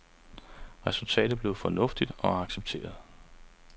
Resultatet blev fornuftigt og accepteret.